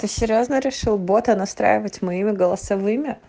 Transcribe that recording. серьёзно решил бота настраивать мои голосовые